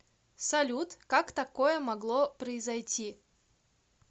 салют как такое могло произойти